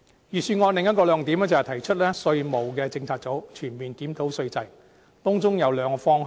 預算案的另一個亮點，是提出成立稅務政策組，全面檢討稅制，當中有兩個方向。